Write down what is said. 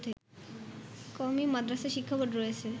কওমী মাদ্রাসা শিক্ষাবোর্ড রয়েছে